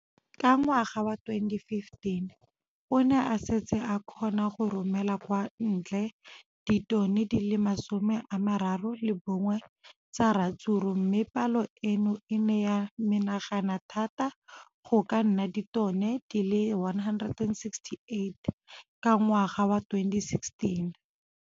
Ka ngwaga wa 2015, o ne a setse a kgona go romela kwa ntle ditone di le 31 tsa ratsuru mme palo eno e ne ya menagana thata go ka nna ditone di le 168 ka ngwaga wa 2016.